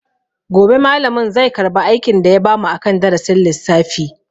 Gobe malamin zai karba aikin da ya bamu akan darasin lissafi.